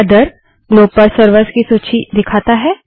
other globe पर servers की सूची दिखाता है